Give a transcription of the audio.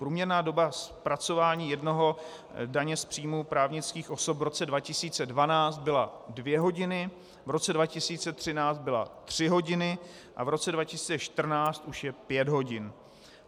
Průměrná doba zpracování jednoho daně z příjmu právnických osob v roce 2012 byla dvě hodiny, v roce 2013 byla tři hodiny a v roce 2014 už je pět hodin.